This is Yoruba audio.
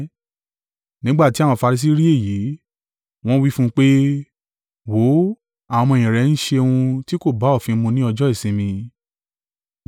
Nígbà tí àwọn Farisi rí èyí. Wọ́n wí fún pé, “Wò ó! Àwọn ọmọ-ẹ̀yìn rẹ ń ṣe ohun tí kò bá òfin mu ní ọjọ́ ìsinmi.”